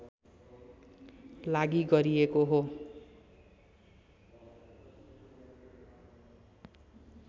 लागि गरिएको हो